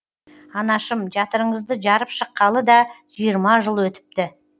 анашым жатырыңызды жарып шыққалы да жиырма жыл өтіпті